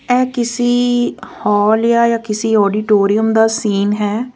ਇਹ ਕਿਸੀ ਹਾਲ ਜਾ ਕਿਸੀ ਆਡੀਟੋਰੀਅਮ ਦਾ ਸੀਨ ਹੈ।